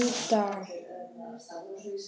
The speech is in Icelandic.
Fæst hann bara hér?